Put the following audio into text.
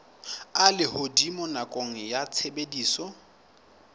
a lehodimo nakong ya tshebediso